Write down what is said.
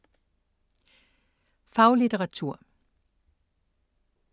Faglitteratur